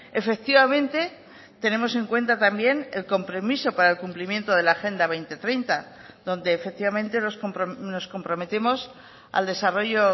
efectivamente tenemos en cuenta también el compromiso para el cumplimiento de la agenda dos mil treinta donde efectivamente nos comprometemos al desarrollo